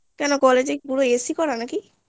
কেন college এ কি পুরো AC করা